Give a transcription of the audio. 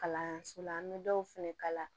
Kalanso la an bɛ dɔw fɛnɛ kala